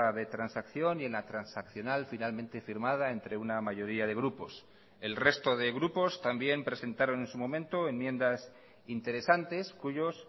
de transacción y en la transaccional finalmente firmada entre una mayoría de grupos el resto de grupos también presentaron en su momento enmiendas interesantes cuyos